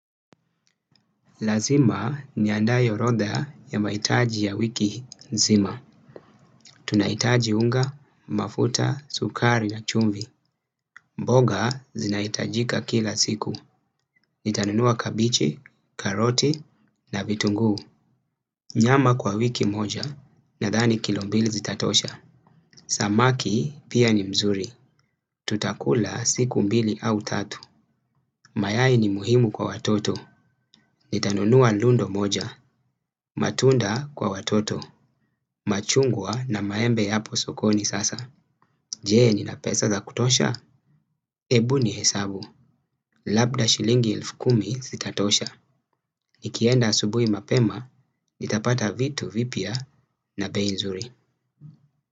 Lazima niandae orodha ya mahitaji ya wiki nzima. Tunahitaji unga, mafuta, sukari na chumvi. Mboga zinahitajika kila siku. Nitanunua kabichi, karoti na vitunguu. Nyama kwa wiki moja nadhani kilo mbili zitatosha. Samaki pia ni mzuri. Tutakula siku mbili au tatu. Mayai ni muhimu kwa watoto. Nitanunua lundo moja. Matunda kwa watoto. Machungwa na maembe yapo sokoni sasa. Je, nina pesa za kutosha? Hebu nihesabu, labda shilingi elfu kumi zitatosha. Nikienda asubui mapema nitapata vitu vipya na bei nzuri.